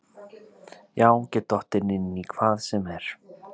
Já get dottið inn í hvað sem er.